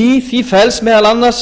í því felst meðal annars